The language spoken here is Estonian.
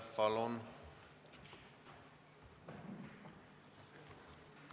Palun!